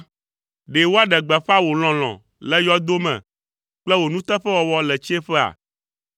Ɖe woaɖe gbeƒã wò lɔlɔ̃ le yɔdo me kple wò nuteƒewɔwɔ le tsiẽƒea?